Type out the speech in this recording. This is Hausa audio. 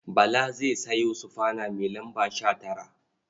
Bala zai sayo sufana mai lamba 19.